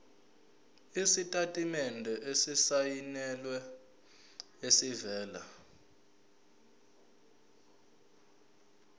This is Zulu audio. isitatimende esisayinelwe esivela